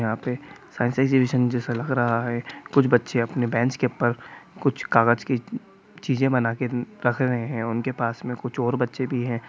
यहां पर science exhibition जैसा लग रहा है कुछ बच्चे अपने बेंच के ऊपर कुछ कागज की चीज बनाकर रख रहे हैं उनके पास में कुछ और बच्चे भी हैं।